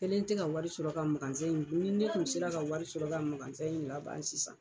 kɛlen tɛ ka wari sɔrɔ ka ni ne kun sera ka wari sɔrɔ ka in laban sisan.